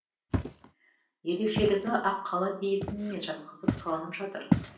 ерекшелігі аққала биігінен емес жатқызып қаланып жатыр